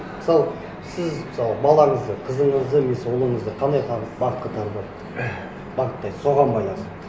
мысалы сіз мысалы балаңызды қызыңызды немесе ұлыңызды қандай бағытқа таңдау бағыттайсыз соған байланысты